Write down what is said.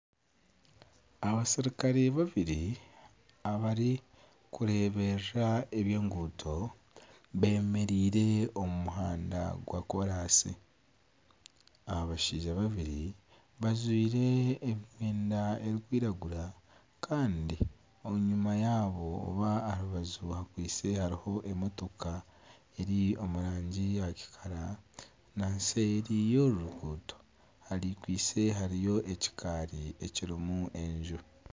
Abaserikare babiri abarikureeberera eby'enguuto bemereire omu muhanda gwa koraasi. Abashaija babiri bajwaire emyenda erikwiragura kandi enyima yabo oba aha rubaju hakwaitse hariho emotoka eri omu rangi ya kikara na nseeri y'oru ruguuto hakwaitse hariyo ekikaari ekirimu enju.